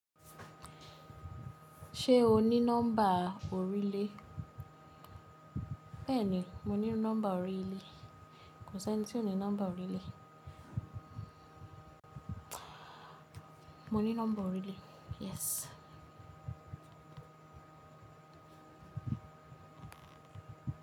Ṣé o ní nọ́mbà oríle? Bẹ́ẹ̀ni, mo ní nọ́mbà orílẹ̀. Kò s'ẹ́ni tí ò ní nọ́mbà orílẹ̀. Mo ní nọ́mbà oríle, yes.